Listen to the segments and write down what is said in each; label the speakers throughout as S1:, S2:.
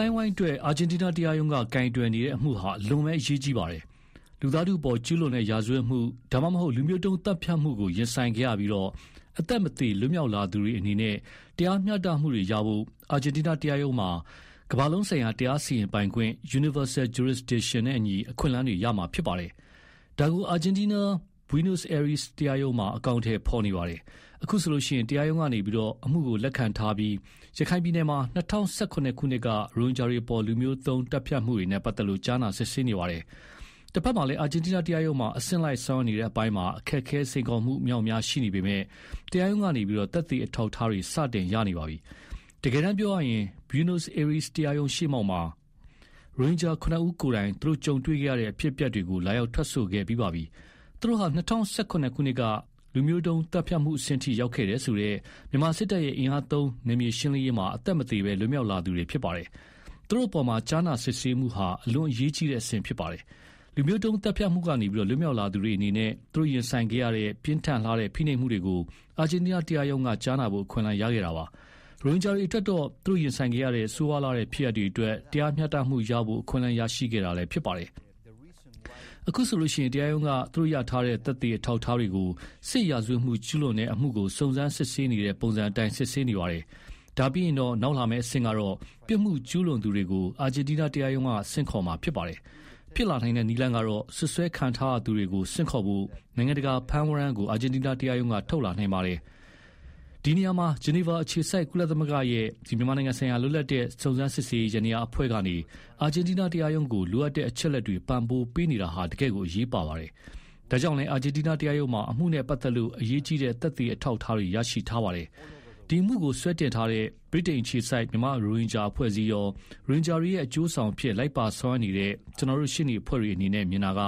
S1: ိုင်းအဝိုင်းအတွက် အာဂျင်တီးနားတရားရုံးက ကိုင်တွယ်နေတဲ့အမှုဟာ အလွန်အရေးကြီးပါတယ်။ လူသားထုအပေါ် ကျူးလွန်တဲ့ ရာဇဝတ်မှု ဒါမှမဟုတ် လူမျိုးတုံးသတ်ဖြတ်မှုကိုရင်ဆိုင်ခဲ့ရပြီး အသက်မသေလွတ်မြောက်လာသူတွေအနေနဲ့တရားမျှတမှုရဖို့အတွက် အာဂျင်တီးနားတရားရုံးမှာ ကမ္ဘာလုံးဆိုင်ရာ တရားစီရင်ပိုင်ခွင့် နဲ့အညီ အခွင့်အလမ်းတွေရမှာဖြစ်ပါတယ်။ ဒါကို အာဂျင်တီးနား Buenos Aires တရားရုံးတော်မှာ အကောင်အထည်ဖေါ်နေပါတယ်။ အခုဆိုရင် တရားရုံးကနေ အမှုကိုလက်ခံထားပြီးတော့ ရခိုင်ပြည်နယ်မှာ ၂၀၁၇ ခုနှစ်က ရိုဟင်ဂျာတွေအပေါ် လူမျိုးတုံးသတ်ဖြတ်မှုတွေနဲ့ပတ်သက်လို့ ကြားနာစစ်ဆေးနေပါတယ်။ တဘက်မှာလည်း အာဂျင်တီးနားတရားရုံးမှာ အဆင့်လိုက်ဆောင်ရွက်နေတဲ့အပိုင်းမှာ အခက်အခဲစိန်ခေါ်မှု အမြောက်အများရှိနေပေမဲ့ တရားရုံးကနေ သက်သေအထောက်အထားတွေ စတင်ရနေပါပြီ။ တကယ်တမ်းပြောရရင် Buenos Aires တရားရုံးရှေ့မှောက်မှာ ရိုဟင်ဂျာ ၇ ဦး ကိုယ်တိုင် သူတို့ကြုံတွေ့ခဲ့ရတဲ့ အဖြစ်အပျက်တွေကို လာရောက်ထွက်ဆိုခဲ့ပြီးပါပြီ။ သူတို့ဟာ ၂၀၁၇ ခုနှစ်က လူမျိုးတုံးသတ်ဖြတ်မှုအဆင့်ထိ ရောက်ခဲ့တယ်ဆိုတဲ့ မြန်မာစစ်တပ်ရဲ့ အင်အားသုံးနယ်မြေရှင်းလင်းရေးမှာ အသက်မသေဘဲ လွတ်မြောက်လာသူတွေဖြစ်ပါတယ်။ သူတို့အပေါ်ကြားနာစစ်ဆေးမှုဟာ အလွန်အရေးကြီးတဲ့အဆင့်ဖြစ်ပါတယ်။ လူမျိုးတုံးသတ်ဖြတ်မှုကနေလွတ်မြောက်လာသူတွေ ရင်ဆိုင်ခဲ့ရတဲ့ ပြင်းထန်လှတဲ့ ဖိနှိပ်မှုတွေကို အာဂျင်တီးနားတရားရုံးက ကြားနာဖို့ အခွင့်အလမ်းရခဲ့တာပါ။ ရိုဟင်ဂျာတွေအတွက်တော့ သူတို့ရင်ဆိုင်ခဲ့ရတဲ့ ဆိုးရွားလှတဲ့ ဖြစ်ရပ်တွေအတွက် တရားမျှတမှုရဖို့ အခွင့်အလမ်းရရှိခဲ့တာလည်းဖြစ်ပါတယ်။ အခုဆိုရင် တရားရုံးက သူတို့ရထားတဲ့ သက်သေအထောက်အထားတွေကို ရာဇ၀တ်မှုကျူးလွန်တဲ့အမှုကို စုံစမ်းစစ်ဆေးနေတဲ့ ပုံစံအတိုင်း စစ်ဆေးနေပါတယ်။ အဲဒါပြီးရင် နောက်လာမဲ့အဆင့်ကတော့ ပြစ်မှုကျူးလွန်သူတွေကို အာဂျင်တီးနားတရားရုံးဆင့်ခေါ်မှာဖြစ်ပါတယ်။ ဖြစ်လာနိုင်တဲ့နည်းလမ်းကတော့ စွပ်စွဲခံထားရသူတွေကို ဆင့်ခေါ်ဖို့ နိုင်ငံတကာဖမ်းဝရမ်းကို အာဂျင်တီးနားတရားရုံးက ထုတ်လာနိုင်ပါတယ်။ ဒီနေရာမှာ ဂျီနီဗာအခြေစိုက် ကုလသမဂ္ဂရဲ့ မြန်မာနိုင်ငံဆိုင်ရာ လွပ်လပ်သော စုံစမ်းစစ်ဆေးရေးယန္တရားအဖွဲ့ကနေ အာဂျင်တီးနားတရားရုံးကို လိုအပ်တဲ့ အချက်အလက်တွေ ပံ့ပိုးပေးနေတာဟာ တကယ်ကို အရေးပါပါတယ်။ အဲဒါကြောင့်လည်း အာဂျင်တီးနားတရားရုံးမှာ အမှုနဲ့ ပတ်သက်လို့ အရေးကြီးတဲ့ သက်သေအထောက်အထားတွေ ရရှိထားပါတယ်။ ဒီအမှုကိုစွဲတင်ထားတဲ့ ဗြိတိန်အခြေစိုက် မြန်မာရိုဟင်ဂျာအဖွဲ့အစည်းရော ရိုဟင်ဂျာတွေရဲ့ အကျိုးဆောင်အဖြစ်လိုက်ပါဆောင်ရွက်နေတဲ့ ကျနော်တို့ ရှေ့နေအဖွဲ့တွေအနေနဲ့ မြင်တာက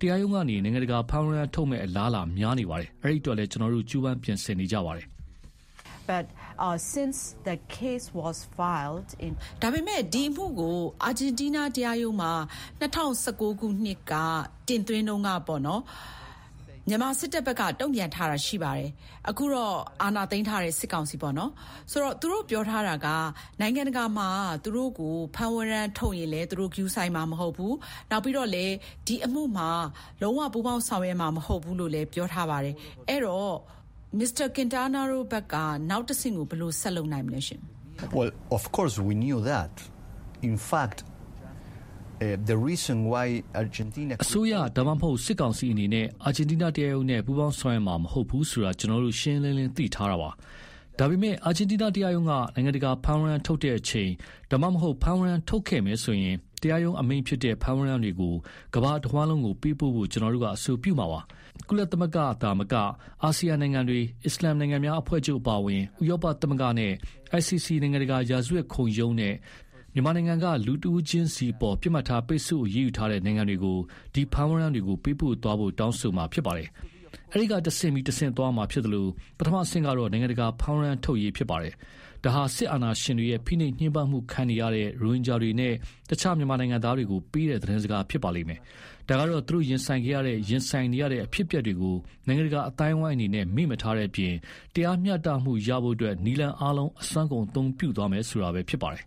S1: တရားရုံးကနေ နိုင်ငံတကာ ဖမ်းဝရမ်း ထုတ်မယ့်အလားအလာများနေပါတယ်။ အဲဒီအတွက်လည်း ကျနော်တို့ ကြိုးပမ်းပြင်ဆင်နေကြပါတယ်
S2: ။ ဗွီအိုအေ။ ။ ဒီအမှုကို အာဂျင်တီးနားတရားရုံးမှာ ၂၀၁၉ ခုနှစ်မှာ တင်သွင်းကတည်းက မြန်မာစစ်တပ်တုံ့ပြန်ထားတာရှိပါတယ်။ အခုတော့ အာဏာသိမ်းထားတဲ့ စစ်ကောင်စီပေ့ါ။ သူတို့ပြောထားတာက နိုင်ငံတကာမှာ သူတို့ကို ဖမ်းဝရမ်းထုတ်ရင်လည်း ဂရုစိုက်မှာ မဟုတ်ဘူး။ နောက်ပြီး ဒီအမှုကို လုံးဝပူးပေါင်းဆောင်ရွက်မှာ မဟုတ်ဘူးလို့ပြောထားတာပါ။ အဲတော့ နောက်တဆင့်ကို ဘယ်လိုဆက်လုပ်နိုင်မလဲ။
S1: Tomas Quintina။ ။ အစိုးရ ဒါမှမဟုတ် စစ်ကောင်စီအနေနဲ့ အာဂျင်တီးနားတရားရုံးနဲ့ ပူးပေါင်းဆောင်ရွက်မှာ မဟုတ်ဘူးဆိုတာ ကျနော်တို့ ရှင်းရှင်းလင်းလင်း သိထားတာပါ။ ဒါပေမဲ့ အာဂျင်တီးနားတရားရုံးက နိုင်ငံတကာ ဖမ်းဝရမ်းထုတ်တဲ့အချိန် ဒါမှမဟုတ် ဖမ်းဝရမ်းထုတ်ခဲ့မယ်ဆိုရင် တရားရုံးအမိန့်ဖြစ်တဲ့ ဖမ်းဝရမ်းတွေကို ကမ္ဘာတဝှမ်းလုံးကို ပေးပို့ဖို့ ကျနော်တို့အဆိုပြုမှာပါ။ ကုလသမဂ္ဂသာမက အာဆီယံနိုင်ငံတွေ၊ အစ္စလာမ်နိုင်ငံများအဖွဲ့ချုပ်အပါအဝင် ဥရောပသမဂ္ဂနဲ့ ICC နိုင်ငံတကာ ရာဇဝတ်ခုံရုံးနဲ့ မြန်မာနိုင်ငံက လူတဦးချင်းစီအပေါ် ပစ်မှတ်ထားပိတ်ဆို့အရေးယူထားတဲ့ နိုင်ငံတွေကို ဒီဖမ်းဝရမ်းတွေကို ပေးပို့သွားဖို့ တောင်းဆိုမှာဖြစ်ပါတယ်။ အဲတော့ တဆင့်ပြီးတဆင့်သွားရမှာဖြစ်သလို ပထမအဆင့်ကတော့ နိုင်ငံတကာ ဖမ်းဝရမ်းထုတ်ဖို့ဖြစ်ပါတယ်။ ဒါဟာ စစ်အာဏာရှင်တွေရဲ့ ဖိနှိပ်ညှင်းပမ်းမှုခံနေရတဲ့ ရိုဟင်ဂျာတွေနဲ့ အခြားမြန်မာနိုင်ငံသားတွေကို ပေးတဲ့သတင်းစကားဖြစ်ပါတယ်။ ဒါကတော့ သူတို့ရင်ဆိုင်ခဲ့ရတဲ့ ရင်ဆိုင်နေရတဲ့ အဖြစ်အပျက်တွေကို နိုင်ငံတကာအသိုင်းအဝိုင်းအနေနဲ့ မေ့မထားတဲ့အပြင် တရားမျှတမှုရဖို့ နည်းလမ်းအားလုံးကို အစွမ်းကုန်အသုံးပြုသွားမယ်ဆိုတာပဲဖြစ်ပါတယ်။